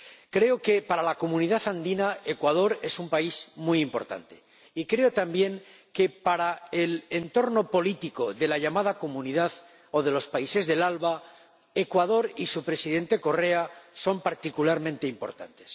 Creo que para la Comunidad Andina Ecuador es un país muy importante, y creo también que para el entorno político de los países de la ALBA Ecuador y su Presidente Correa son particularmente importantes.